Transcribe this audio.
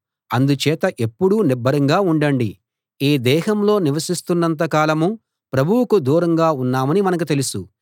అందుచేత ఎప్పుడూ నిబ్బరంగా ఉండండి ఈ దేహంలో నివసిస్తున్నంత కాలం ప్రభువుకు దూరంగా ఉన్నామని మనకు తెలుసు